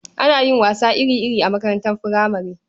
Ana yin wasanni iri-iri a makaranatar furamare.